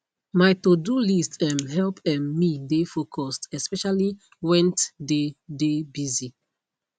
my todo list um help um me dey focused especially went dey de busy